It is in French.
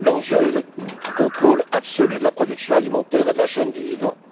L'enjeu est le contrôle absolu de la production alimentaire et de la chaîne du vivant.